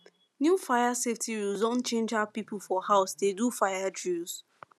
new fire safety rules don change how people for house dey do fire drills